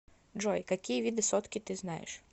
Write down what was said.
джой какие виды сотки ты знаешь